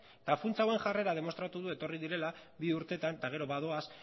eta funtsa hauen jarrera demostratu du etorri direla bi urtetan eta gero badoaz